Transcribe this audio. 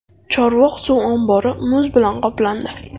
Chorvoq suv ombori muz bilan qoplandi.